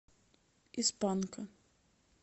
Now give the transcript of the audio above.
из панка